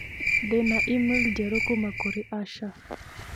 ndĩ na e-mail njerũ kuuma kũrĩ asha